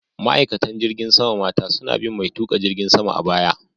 Ma'aikatan cikin jirgin sama mata suna bin mai tuƙa jirgin sama a baya.